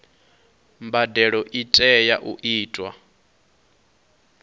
mbadelo i tea u itwa